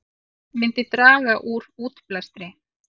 Myndi draga úr útblæstri